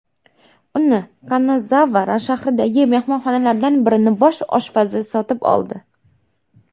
Uni Kanazava shahridagi mehmonxonalardan birining bosh oshpazi sotib oldi.